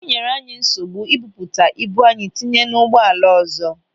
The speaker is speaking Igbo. O nyere anyị nsogbu ibuputa ibu anyị tinye n'ụgbọala ọzọ.